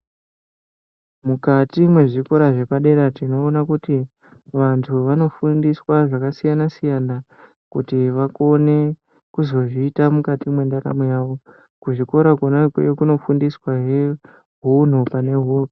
Mukati mwezvikora zvepadera tinoona kuti vantu vanofundiswa zvakasiyana siyana kuti vakone kuzozviita mukati mwendaramo yawo kuzvikora konakoyo kunofundiswahe hunhu